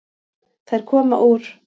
Þær koma úr